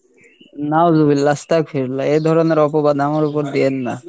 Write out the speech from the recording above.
নাওজুবিল্লাহ আসতাগফিরুল্লাহ এই ধরণের অপবাদ আমার ওপর দিয়েন না।